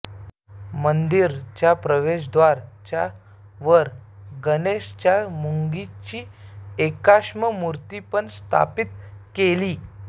मन्दिर च्या प्रवेशद्वार च्या वर गणेश च्या मूंगेची एकाश्म मूर्ति पण स्थापित केली